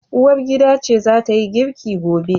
Uwargida ce zatayi girki gobe